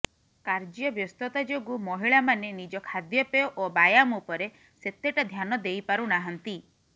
କାର୍ଯ୍ୟବ୍ୟସ୍ତତା ଯୋଗୁ ମହିଳାମାନେ ନିଜ ଖାଦ୍ୟପେୟ ଓ ବ୍ୟାୟାମ ଉପରେ ସେତେଟା ଧ୍ୟାନ ଦେଇପାରୁନାହାନ୍ତି